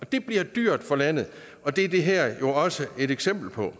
det bliver dyrt for landet og det er det her jo også et eksempel på